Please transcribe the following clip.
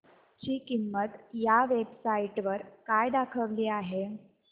ची किंमत या वेब साइट वर काय दाखवली आहे